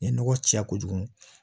N ye nɔgɔ caya kojugu